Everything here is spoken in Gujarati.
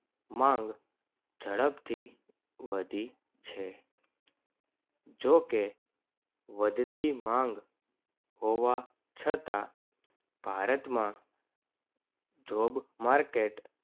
માંગ જડપથી વધી છે. જો કે વધતી માંગ હોવા છતાં ભારતમાં job market